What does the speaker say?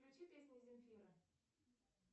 включи песни земфира